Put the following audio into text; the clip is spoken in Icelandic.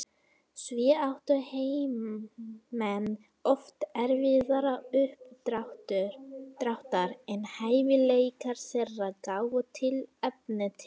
Því áttu heimamenn oft erfiðara uppdráttar en hæfileikar þeirra gáfu tilefni til.